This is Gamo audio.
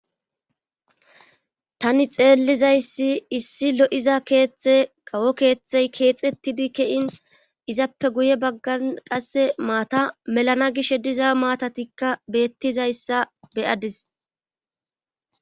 tani xeellizayssi issi lo7iza keeththe kawo keeththey keexettidi kein izappe guye baggan qasse maata melana gishh diza maatatikka beettizayssa beyadis